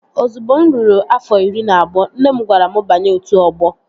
Ozugbo mụ ruru afọ iri na abụọ, nne m gwara m banye otu ọgbọ